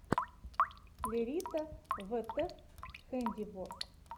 лерита вт хэндиворк